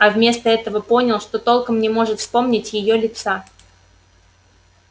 а вместо этого понял что толком не может вспомнить её лица